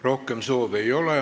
Rohkem soove ei ole.